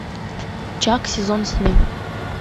чак сезон семь